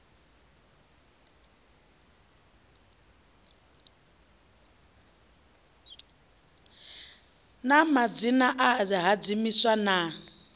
na madzina a vhahadzimiswa na